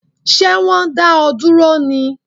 Ṣé wọn dá ọ dúró ní?